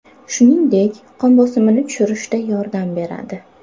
Shuningdek, qon bosimini tushirishda yordam beradi.